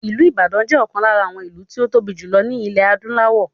Ìlú Ìbàdàn jẹ́ ọ̀kan lára àwọn ìlú tí ó tóbi jù lọ ní ilẹ̀ adúláwọ̀